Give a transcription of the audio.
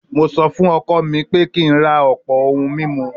Mo sọ fún ọkọ mi pé kí n ra ọ̀pọ̀ ohun mímu